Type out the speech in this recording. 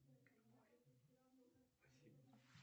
джой перемотай на начало песни